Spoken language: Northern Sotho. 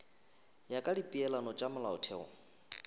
ya ka dipeelano tša molaotheo